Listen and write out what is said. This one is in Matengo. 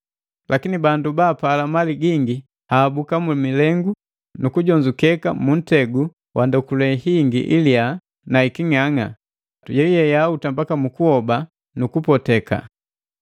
Lakini bandu baapala mali gingi ahabuka mumilengu, nukujonzeka muntegu wa ndokule hingi iliyaa na hiking'ang'a, yeyuye yahuta mbaka mu kuhoba nukupoteka.